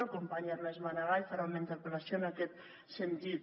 el company ernest maragall farà una interpel·lació en aquest sentit